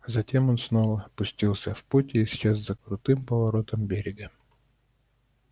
затем он снова пустился в путь и исчез за крутым поворотом берега